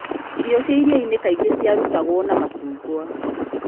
Irio cia iria-inĩ kaingĩ ciarutagwo na macungwa.